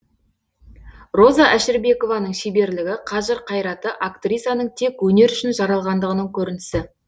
роза әшірбекованың шеберлігі қажыр қайраты актрисаның тек өнер үшін жаралғандығының көрінісі